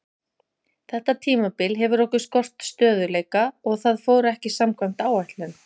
Þetta tímabil hefur okkur skort stöðugleika og það fór ekki samkvæmt áætlun.